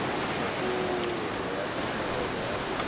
thebolo ya tumelelo ya bonno